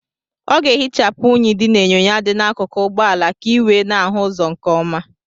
Ọ ga-ehichapụ unyi dị n'enyo dị n'akụkụ ụgbọala ka ị wee na-ahụ ụzọ nke ọma.